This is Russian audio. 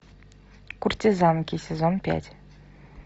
куртизанки сезон пять